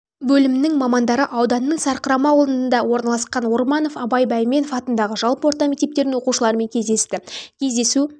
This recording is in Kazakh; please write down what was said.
бөлімнің мамандары ауданның сарқырама ауылыныда орналасқан орманов абай бәйменов атындағы жалпы орта мектептердің оқушылармен кездесті кездесу